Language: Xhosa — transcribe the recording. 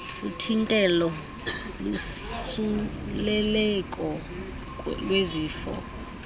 uthintelo losuleleko lwezifo